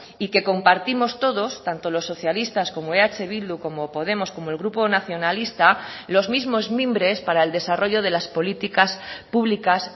y que compartimos todos tanto los socialistas como eh bildu como podemos como el grupo nacionalista los mismos mimbres para el desarrollo de las políticas publicas